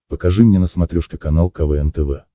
покажи мне на смотрешке канал квн тв